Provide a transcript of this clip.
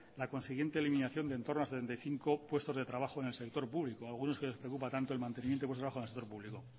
la consiguiente eliminación de entorno a setenta y cinco puestos de trabajo en el sector público algunos que les preocupa tanto el mantenimiento de los puestos de trabajo en el sector público